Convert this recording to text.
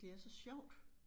Det er så sjovt